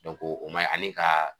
o man ɲi ani ka